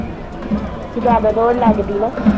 ਜਿਆਦਾ ਦੋੜ ਲੱਗਦੀ ਨਾ